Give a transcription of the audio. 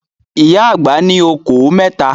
Ìyá àgbà ní okòó mẹ́ta.